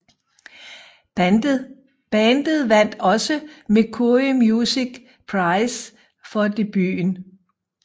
Bandet vandt også Mercury Music Prize for debuten